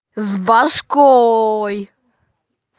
с башкой